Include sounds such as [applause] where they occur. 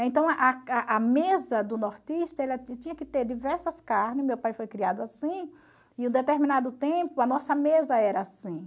Então [unintelligible] a mesa do nortista ela tinha que ter diversas carnes, meu pai foi criado assim, [unintelligible] determinado tempo a nossa mesa era assim.